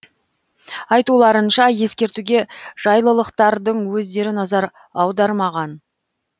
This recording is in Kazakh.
айтуларынша ескертуге жайлылықтардың өздері назар аудармаған